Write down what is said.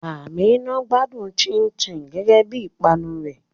Àmíná ń gbádùn ṣínṣìn gẹ́gẹ́ bí ìpanu rẹ̀.